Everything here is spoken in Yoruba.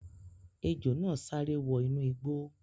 Ejò náà sáré wọ inú igbó